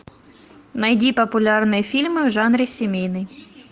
найди популярные фильмы в жанре семейный